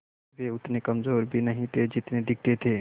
वे उतने कमज़ोर भी नहीं थे जितने दिखते थे